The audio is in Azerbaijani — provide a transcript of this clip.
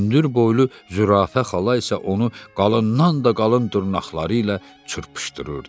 Hündürboylu zürafə xala isə onu qalından da qalın dırnaqları ilə çırpışdırırdı.